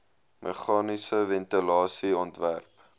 meganiese ventilasie ontwerp